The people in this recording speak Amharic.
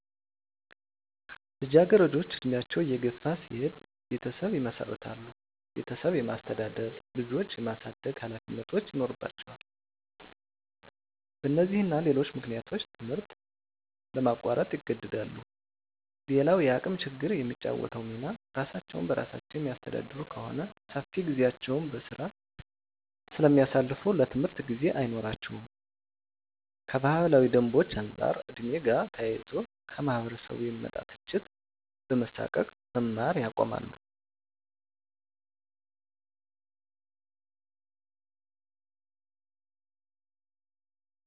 ልጃገረዶች እድሜያቸው እየገፋ ሲሄድ ቤተሰብ ይመሰርታሉ ቤተሰብ የማስተዳደር፣ ልጆች የማሳደግ ሀላፊነቶች ይኖርባቸዋል በነዚህና ሌሎች ምክንያቶች ትምህርት ለማቋረጥ ይገደዳሉ። _ሌላዉ የአቅም ችግር የሚጫወተዉ ሚና እራሳቸዉን በራሳቸዉ የሚያስተዳድሩ ከሆነ ሰፊ ጊዜያቸዉን በስራ ስለሚያሳልፋ ለትምህርት ጊዜ አይኖራቸውም _ከባህላዊ ደንቦች አንፃር ከ ዕድሜ ጋር ተያይዞ ከማህበረሰቡ የሚመጣ ትችት በመሳቀቅ መማር ያቆማሉ